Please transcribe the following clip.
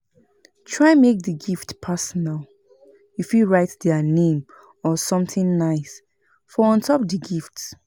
Try make di gift personal, you fit write their name or something nice for on top di gift